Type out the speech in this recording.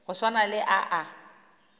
go swana le a a